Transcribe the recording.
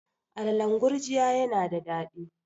alalan gurjiya yana da dadi